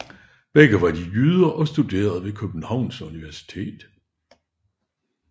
Begge var de jyder og studerende ved Københavns Universitet